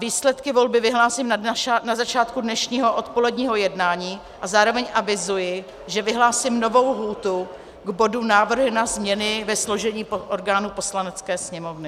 Výsledky volby vyhlásím na začátku dnešního odpoledního jednání a zároveň avizuji, že vyhlásím novou lhůtu k bodu Návrhy na změny ve složení orgánů Poslanecké sněmovny.